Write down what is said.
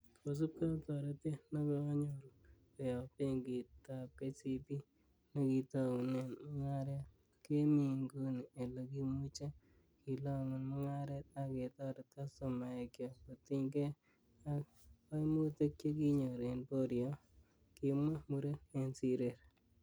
'Kosiibge ak toretet nekonyoru koyob Benkitab KCB nekitounen mungaret, kemi inguni ele kimuche kilongun mungaret ak ketoret kastomaekyok kotiny gee ak koimutik chekinyor en boriot,"Kimwa muren en sirer